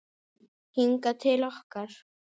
Hingað til okkar?